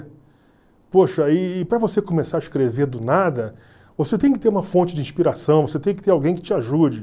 E para você começar a escrever do nada, você tem que ter uma fonte de inspiração, você tem que ter alguém que te ajude.